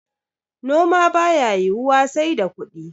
noma ba ya yiwuwa sai da kudi